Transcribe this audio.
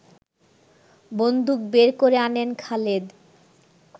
বন্দুক বের করে আনেন খালেদ